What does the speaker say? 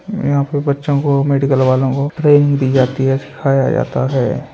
यहाँ पर बच्चों को मेडिकल वालों को ट्रेनिंग दी जाती है सिखाया जाता है।